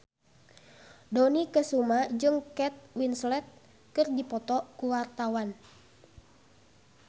Dony Kesuma jeung Kate Winslet keur dipoto ku wartawan